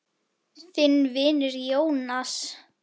Þinn vinur, Jónas.